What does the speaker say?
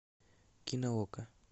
кино окко